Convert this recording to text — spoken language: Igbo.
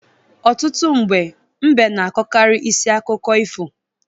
Ọtụtụ mgbe, mbe na-akọkarị isi akụkọ ifo.